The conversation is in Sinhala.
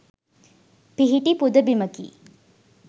පිහිටි පුද බිමකි.